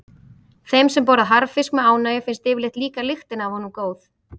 Þeim sem borða harðfisk með ánægju finnst yfirleitt líka lyktin af honum góð.